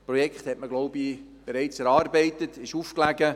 Das Projekt hat man, denke ich, bereits erarbeitet und aufgelegt.